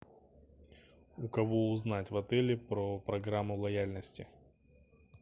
у кого узнать в отеле про программу лояльности